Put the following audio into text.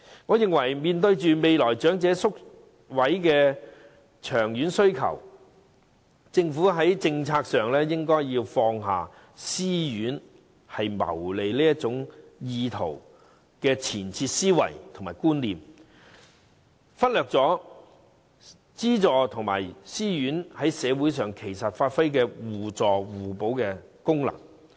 我認為面對長者宿位的長遠需求，政府在政策上應放下私營院舍只求謀利的前設思維和觀念，不應忽略私營院舍與津助院舍在社會上發揮互助互補的功能。